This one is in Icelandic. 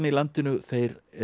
í landinu þeir